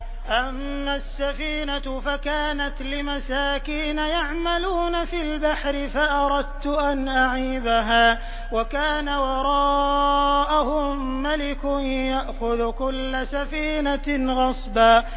أَمَّا السَّفِينَةُ فَكَانَتْ لِمَسَاكِينَ يَعْمَلُونَ فِي الْبَحْرِ فَأَرَدتُّ أَنْ أَعِيبَهَا وَكَانَ وَرَاءَهُم مَّلِكٌ يَأْخُذُ كُلَّ سَفِينَةٍ غَصْبًا